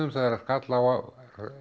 þegar skall á